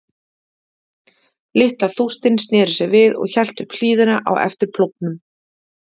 Litla þústin sneri sér við og hélt upp hlíðina á eftir plógnum.